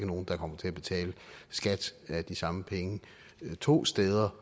nogen der kommer til at betale skat af de samme penge to steder